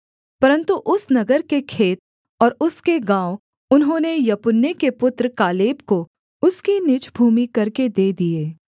परन्तु उस नगर के खेत और उसके गाँव उन्होंने यपुन्ने के पुत्र कालेब को उसकी निज भूमि करके दे दिए